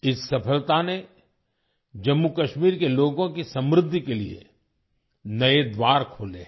इस सफलता ने जम्मू कश्मीर के लोगों की समृद्धि के लिए नए द्वार खोले हैं